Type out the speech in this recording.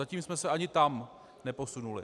Zatím jsme se ani tam neposunuli.